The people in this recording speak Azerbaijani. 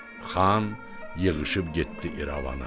Xan yığışıb getdi İrəvana.